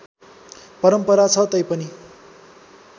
परम्परा छ तैपनि